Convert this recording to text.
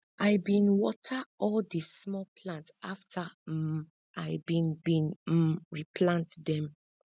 i bin water all di small plant afta um i bin bin um replant dem